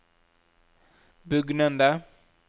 bugnende